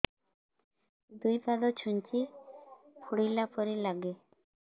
ଦୁଇ ପାଦ ଛୁଞ୍ଚି ଫୁଡିଲା ପରି ଲାଗେ